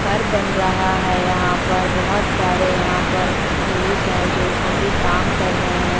घर बन रहा है यहाँ पर बहुत सारे यहाँ पर पुरुष है जो कभी काम कर रहे है।